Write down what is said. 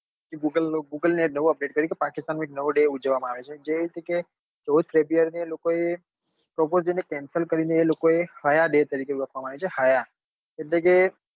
બ google એ નવું update કર્યું કે પાકિસ્તાન માં એક નવો day ઉજવવા માં આવે છે જે કે ચૌદ february ને એ લોકો એ prapose day ને cencel કરી ને એ લોકો ને હયા day તરીકે એવું આપવા માં આવ્યું છે એટલે કે